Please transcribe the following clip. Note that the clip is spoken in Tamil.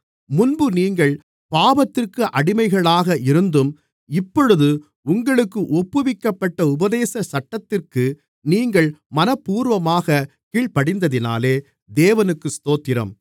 முன்பு நீங்கள் பாவத்திற்கு அடிமைகளாக இருந்தும் இப்பொழுது உங்களுக்கு ஒப்புவிக்கப்பட்ட உபதேச சட்டத்திற்கு நீங்கள் மனப்பூர்வமாகக் கீழ்ப்படிந்ததினாலே தேவனுக்கு ஸ்தோத்திரம்